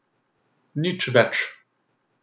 Nič več.